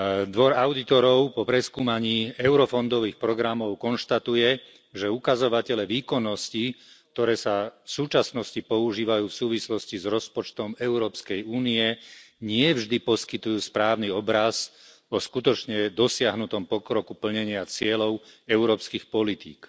Dvor audítorov po preskúmaní eurofondových programov konštatuje, že ukazovatele výkonnosti, ktoré sa v súčasnosti používajú v súvislosti s rozpočtom Európskej únie, nie vždy poskytujú správny obraz o skutočne dosiahnutom pokroku plnenia cieľov európskych politík.